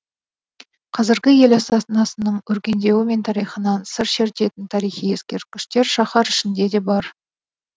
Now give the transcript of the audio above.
қазіргі ел астанасының өркендеуі мен тарихынан сыр шертетін тарихи ескерткіштер шаһар ішінде де бар